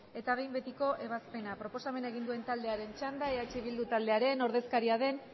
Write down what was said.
eta behin betiko ebazpena proposamena egin duen taldearen txanda eh bildu taldearen ordezkaria den